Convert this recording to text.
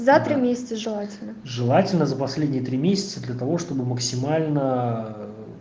за три месяца желательно желательно за последние три месяца для того чтобы максимально